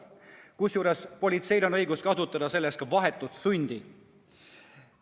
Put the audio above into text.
Kusjuures politseil on õigus kasutada selleks ka vahetut sundi.